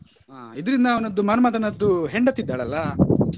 ಹಾ ಇದರಿಂದ ಅವನದ್ದು ಮನ್ಮತನದ್ದು ಹೆಂಡತಿ ಇದ್ದಾಳಲ್ಲಾ.